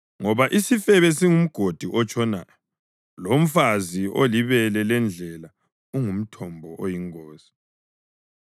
ngoba isifebe singumgodi otshonayo lomfazi olibele lendlela ungumthombo oyingozi.